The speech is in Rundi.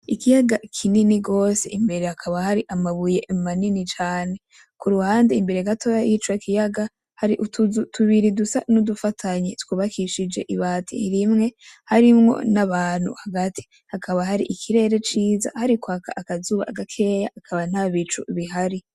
Ikiyaga kinini gose imbere hakaba har' amabuye manini cane, kuruhande imbere gatoyi yico kiyaga har'utuzu tubiri dusa n udufatanye twubakishijwe ibati rimwe harimwo n'abantu hagati hakaba har' ikirere ciza harikwaka akazuba gakeyi haba ntabicu bihari.